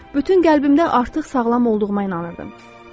Bütün qəlbimdən artıq sağlam olduğuma inanırdım.